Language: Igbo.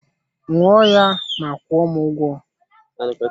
Ṅụọ ya ma kwuo m ụgwọ